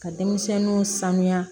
Ka denmisɛnninw sanuya